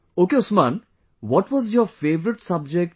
Ok Usman what was your favourite subject